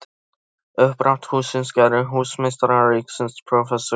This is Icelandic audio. Uppdrátt hússins gerði húsameistari ríkisins prófessor Guðjón